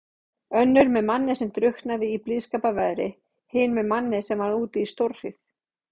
Önnur með manni sem drukknaði í blíðskaparveðri, hin með manni sem varð úti í stórhríð.